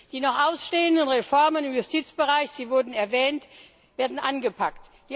Die noch ausstehenden Reformen im Justizbereich sie wurden erwähnt werden angepackt.